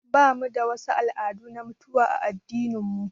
Bamu da wasu al'adu na mutuwa a addinin mu